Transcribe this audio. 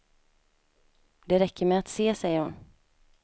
Det räcker med att se, säger hon.